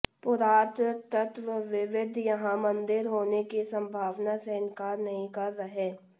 पुरातत्वविद यहां मंदिर होने की संभावना से इन्कार नहीं कर रहे